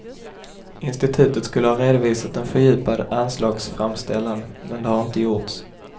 Institutet skulle ha redovisat en fördjupad anslagsframställan, men det har inte gjorts.